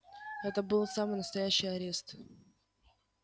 это был самый настоящий арест